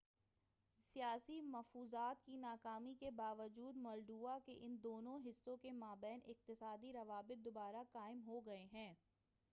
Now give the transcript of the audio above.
سیاسی مفاوضات کی ناکامی کے با وجود مولڈووا کے ان دونوں حصوں کے ما بین اقتصادی روابط دوبارہ قائم ہو گئے ہیں